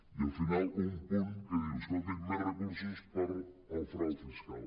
i al final un punt que diu escolti’m més recursos per al frau fiscal